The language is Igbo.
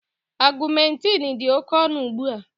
Augmentin dị oke ọnụ ugbu a